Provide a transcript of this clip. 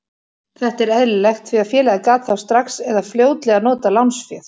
Þetta er eðlilegt því að félagið gat þá strax eða fljótlega notað lánsféð.